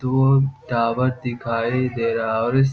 दूर टावर दिखाई दे रहा और इस --